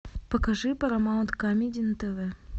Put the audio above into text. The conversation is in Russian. покажи парамаунт камеди на тв